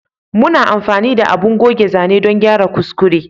Muna amfani da abun goge zane dan gyara kuskure